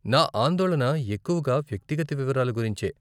నా ఆందోళన ఎక్కువగా వ్యక్తిగత వివరాలు గురించే.